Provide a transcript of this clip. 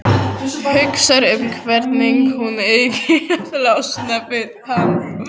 Hugsar um hvernig hún eigi að losna við hann.